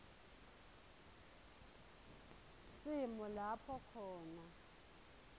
simo lapho khona